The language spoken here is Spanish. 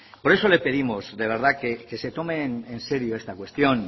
por eso le pedimos de verdad que se tomen en serio esta cuestión